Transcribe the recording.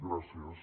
gràcies